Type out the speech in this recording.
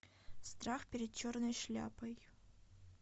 страх перед черной шляпой